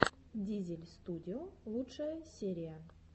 дизель студио лучшая серия